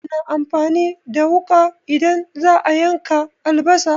Ana amfani da wuƙa idan za'a yanka albasa